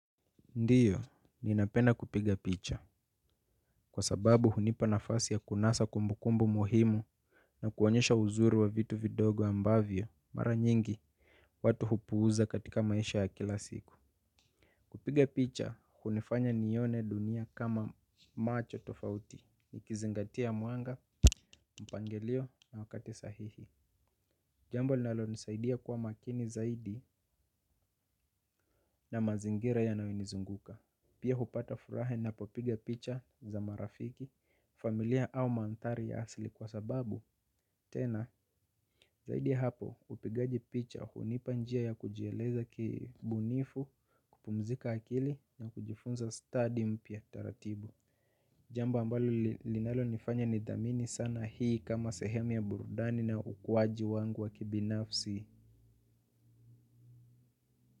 Ndiyo, ninapenda kupiga picha. Kwa sababu hunipa nafasi ya kunasa kumbukumbu muhimu na kuonyesha uzuri wa vitu vidogo ambavyo, mara nyingi watu hupuuza katika maisha ya kila siku. Kupiga picha hunifanya niione dunia kama macho tofauti nikizingatia mwanga, mpangilio na wakati sahihi. Jambo linalonisaidia kuwa makini zaidi na mazingira yanayonizunguka. Pia hupata furaha ninapo piga picha za marafiki, familia au mandhari ya asili kwa sababu tena zaidi ya hapo upigaji picha. Jamba ambalo linalo nifanya nidhamini sana hii kama sehemu ya burudani na ukuwaji wangu wa kibinafsi.